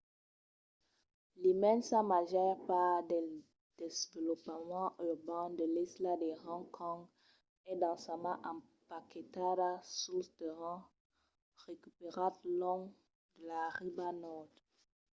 l'immensa màger part del desvolopament urban de l'isla de hong kong es densament empaquetada suls terrenhs recuperats long de la riba nòrd